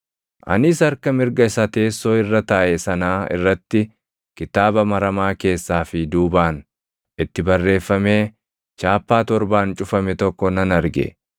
Anis harka mirga isa teessoo irra taaʼe sanaa irratti kitaaba maramaa keessaa fi duubaan itti barreeffamee chaappaa torbaan cufame tokko nan arge.